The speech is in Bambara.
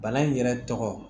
Bana in yɛrɛ tɔgɔ